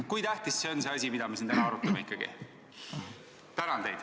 Kui tähtis asi see on, mida me siin täna arutame?